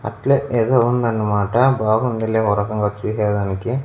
అట్లే ఏదో ఉందన్నమాట బాగుందిలే ఒరకంగా చూసేదానికి.